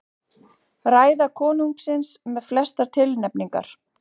Ræða konungsins með flestar tilnefningar